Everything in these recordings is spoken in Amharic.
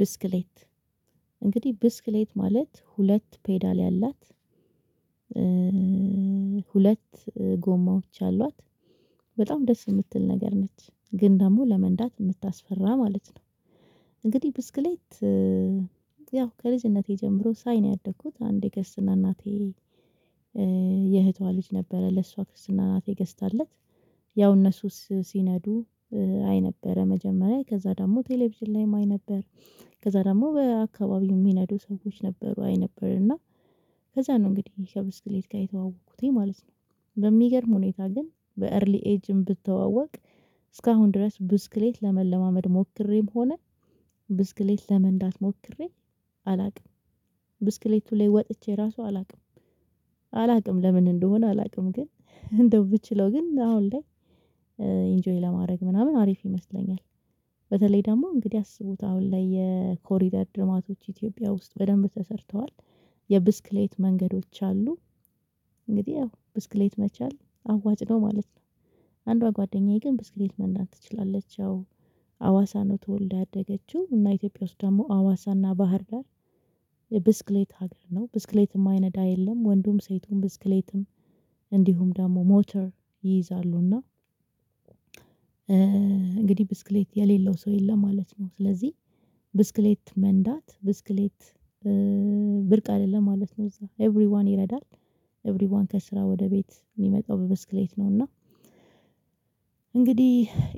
ብስክሌት እንግዲህ ብስክሌት ማለት ሁለት ፔዳል ያላት ሁለት ጎማዎች አሏት በጣም ደስ የምትል ነገር ነች ግን ደግሞ ለመንዳት የምታስፈራ ማለት ነው። እንግዲህ ብስክሌት ያው ከልጅነቴ ጀምሮ ሳይ ነው ያደኩት አንድ የክርስትና እናቴ የእህቷ ልጅ ነበረ ለሷ ክርስትና እናቴ ገዝታለት ያው እነሱስ ሲነዱ አይ ነበረ መጀመሪያ ከዛ ደግሞ ቴሌቪዥን ላይም አይ ነበር። ከዛ ደግሞ በአካባቢው የሚነዱ ሰዎች ነበሩ አይ ነበር እና ከዛ ነው እንግዲህ ከብስክሌት ጋር የተዋወቅኩትኝ ማለት ነው። በሚገርም ሁኔታ ግን በኤርሊ ኤጅም ብትዋወቅ እስካሁን ድረስ ብስክሌት ለመለማመድ ሞክሬም ሆነ ብስክሌት ለመንዳት ሞክሬ አላውቅም። ብስክሌቱ ላይ ወጥቼ ራሱ አላውቅም አላውቅም ለምን እንደሆነ አላውቅም ግን እንደው ብችለው ግን አሁን ላይ ኢንጆይ ለማድረግ ምናምን አሪፍ ይመስለኛል። በተለይ ደግሞ እንግዲህ አስቡት አሁን ላይ የኮሪደር ልማቶች ኢትዮጵያ ውስጥ በደንብ ተሰርተዋል የብስክሌት መንገዶች አሉ። እንግዲህ ያው ብስክሌት መቻል አዋጭ ነው ማለት ነው። አንዷ ጓደኛዬ ግን ብስክሌት መናዳት ትችላለች ያው ሀዋሳ ተወልዳ ያደገችው እና ኢትዮጵያ ውስጥ ደግሞ አዋሳና ባህር ዳር ጋር የብስክሌት ሀገር ነው ብስክሌትም የማይነዳ የለም። ወንዱም ሴቱም ብስክሌትም እንዲሁም ደግሞ ሞተር ይይዛሉና እና እንግዲህ ብስክሌት የሌለው ሰው የለም ማለት ነው። ስለዚህ ብስክሌት መንዳት ብስክሌት ብርቅ አይደለም ማለት ነው እዛ ኤቭሪዋን ይረዳል። ኤቭሪዋን ከስራ ወደ ቤት የሚመጣው ብስክሌት ነው እና እንግዲህ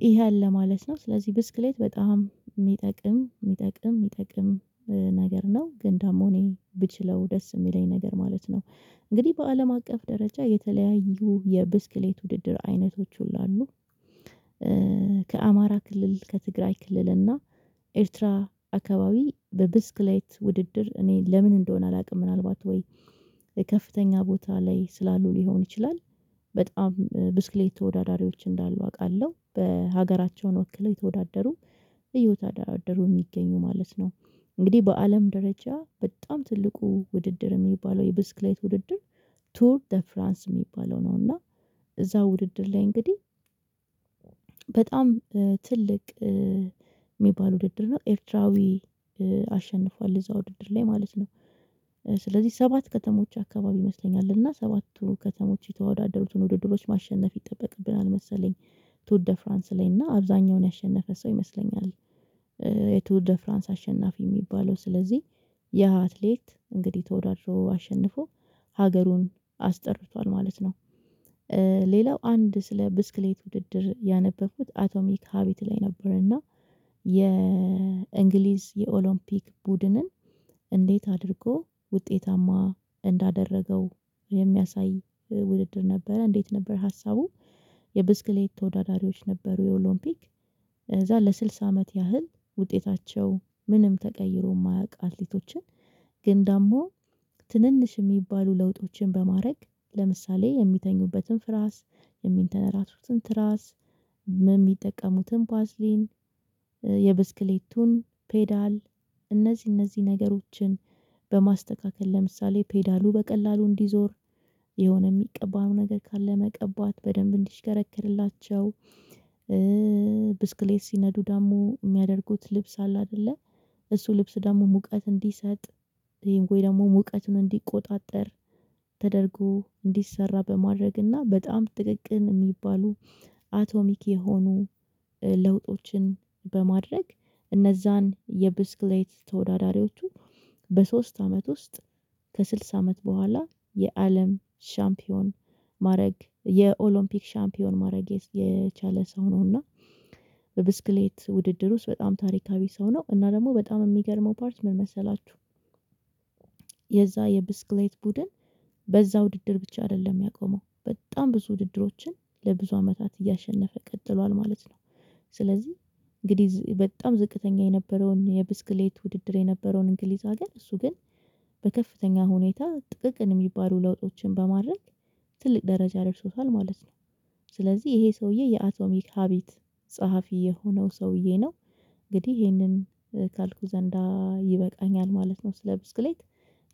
ይሄ አለ ማለት ነው። ስለዚህ ብስክሌት በጣም የሚጠቅም የሚጠቅም የሚጠቅም ነገር ነው ግን ዳግሞ እኔ ብችለው ደስ የሚለኝ ነገር ማለት ነው። እንግዲህ በአለም አቀፍ ደረጃ የተለያዩ የብስክሌት ውድድር አይነቶች ሁሉ አሉ። ከአማራ ክልል ከትግራይ ክልል እና ኤርትራ አካባቢ በብስክሌት ውድድር እኔ ለምን እንደሆነ አላውቅም ምናልባት ወይ ከፍተኛ ቦታ ላይ ስላሉ ሊሆን ይችላል። በጣም ብስክሌት ተወዳዳሪዎች እንዳሉ አውቃለሁ በሀገራቸውን ወክለው የተወዳደሩ እየተወዳደሩ የሚገኙ ማለት ነው። እንግዲህ በአለም ደረጃ በጣም ትልቁ ውድድር የሚባለው የብስክሌት ውድድር ቱር ዘ ፍራንስ የሚባለው ነው። እና እዛው ውድድር ላይ እንግዲህ በጣም ትልቅ የሚባል ውድድር ነው ኤርትራዊ አሸንፏል እዛው ዉድድር ላይ ማለት ነው። ስለዚህ ሰባት ከተሞች አካባቢ ይመስለኛል እና ሰባቱ ከተሞች የተወዳደሩትን ውድድሮች ማሸነፍ ይጠበቅብናል መሰለኝ ቱር ድፍራንስ ላይ እና አብዛኛውን ያሸነፈ ሰው ይመስለኛል። የቱር ድፍራንስ አሸናፊ የሚባለው ስለዚህ ያ አትሌት እንግዲህ ተወዳድሮ አሸንፎ ሀገሩን አስጠርቷል ማለት ነው። ሌላው አንድ ስለ ብስክሌት ውድድር ያነበብኩት አቶሚክ ሀቢት ላይ ነበርና የእንግሊዝ የኦሎምፒክ ቡድንን እንዴት አድርጎ ውጤታማ እንዳደረገው የሚያሳይ ውድድር ነበረ እንዴት ነበር ሀሳቡ? የብስክሌት ተወዳዳሪዎች ነበሩ የኦሎምፒክ እዛ ለስልሳ አመት ያህል ውጤታቸው ምንም ተቀይሮ የማያውቅ አትሌቶችን ግን ዳግሞ ትንንሽ የሚባሉ ለውጦችን በማድረግ ለምሳሌ የሚተኙበትን ፍራስ የሚንተነራሱትን ትራስ የሚጠቀሙትን ባዝሊን የብስክሌቱን ፔዳል እነዚህ እነዚህ ነገሮችን በማስተካከል ለምሳሌ ፔዳሉ በቀላሉ እንዲዞር የሆነ የሚቀባው ነገር ካለ መቀባት በደንብ እንዲሽከረከርላቸው ብስክሌት ሲነዱ ደግሞ የሚያደርጉት ልብስ አለ አይደለ እሱ ልብስ ደግሞ ሙቀት እንዲሰጥ ይሄን ቆይ ደግሞ ሙቀቱን እንዲቆጣጠር ተደርጎ እንዲሰራ በማድረግና በጣም ጥቅቅን የሚባሉ አቶሚክ የሆኑ ለውጦችን በማድረግ እነዛን የብስክሌት ተወዳዳሪዎቹ በሶስት አመት ውስጥ ከስልሳ አመት በኋላ የአለም ሻምፒዮን ማድረግ የኦሎምፒክ ሻምፒዮን ማድረግ የቻለ ሰው ነውና። በብስክሌት ውድድር ውስጥ በጣም ታሪካዊ ሰው ነው እና ደግሞ በጣም የሚገርመው ፓርት ምን መሰላችሁ? የዛ የብስክሌት ቡድን በዛ ውድድር ብቻ አይደለም ያቆመው በጣም ብዙ ውድድሮችን ለብዙ አመታት እያሸነፈ ቀጥሏል ማለት ነው። ስለዚህ እንግዲህ በጣም ዝቅተኛ የነበረውን የብስክሌት ውድድር የነበረውን እንግሊዝ አገር እሱ ግን በከፍተኛ ሁኔታ ጥቅቅን የሚባሉ ለውጦችን በማድረግ ትልቅ ደረጃ ደርሶታል ማለት ነው። ስለዚህ ይሄ ሰውዬ የአቶሚክ ሀቢት ጸሐፊ የሆነው ሰውዬ ነው። እንግዲህ ይሄንን ካልኩ ዘንዳ ይበቃኛል ማለት ነው። ስለ ብስክሌት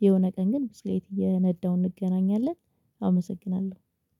የሆነ ቀን ግን ብስክሌት እየነዳሁ እንገናኛለን አመሰግናለሁ